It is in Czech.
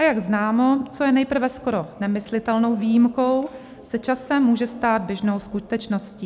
A jak známo, co je nejprve skoro nemyslitelnou výjimkou, se časem může stát běžnou skutečností.